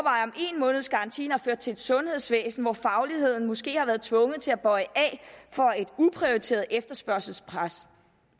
en måneds garantien har ført til et sundhedsvæsen hvor fagligheden måske har været tvunget til at bøje af for et uprioriteret efterspørgselspres